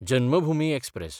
Janmabhoomi express